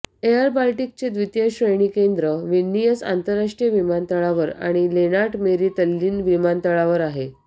airBaltic चे द्वितीय श्रेणी केंद्र विल्नियस आंतरराष्ट्रीय विमानतळावर आणि लेंनार्ट मेरी तल्लीन्न विमानतळावर आहेत